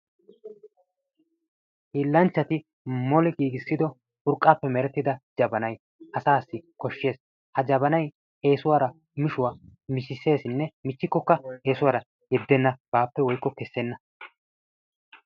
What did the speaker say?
Hiilanchchati moli giigissido urqqappe urqqappe merettida jabanay asassi koshshees. ha jabanay eessuwara yuushshuwa miishsheesisinne miichikkoka qassi eessuwara yeddena baappe woyko kessena.